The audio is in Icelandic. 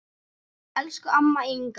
Elsku amma Inga.